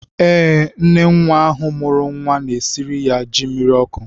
Ee, nne nwa ahụ mụrụ nwa na-esiri ya ji mmiri ọkụ.